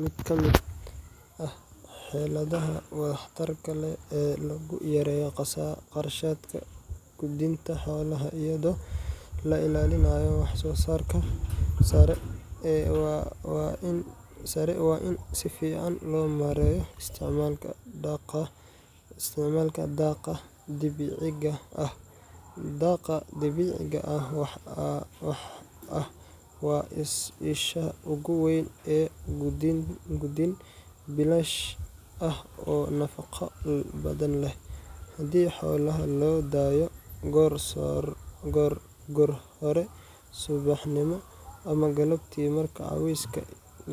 Mid ka mid ah xeeladaha waxtarka leh ee lagu yareeyo kharashka quudinta xoolaha iyadoo la ilaalinayo wax-soo-saarka sare waa in si fiican loo maareeyo isticmaalka daaqa dabiiciga ah. Daaqa dabiiciga ah waa isha ugu weyn ee quudin bilaash ah oo nafaqo badan leh, haddii xoolaha loo daayo goor hore subaxnimo ama galabtii marka cawska